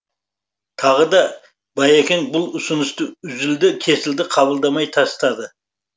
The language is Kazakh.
тағы да байекең бұл ұсынысты үзілді кесілді қабылдамай тастады